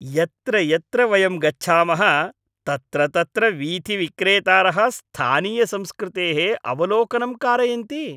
यत्र यत्र वयं गच्छामः तत्र तत्र वीथिविक्रेतारः स्थानीयसंस्कृतेः अवलोकनं कारयन्ति।